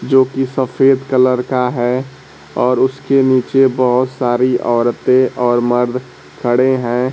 जो कि सफेद कलर का है और उसके नीचे बहुत सारी औरतें और मर्द खड़े हैं।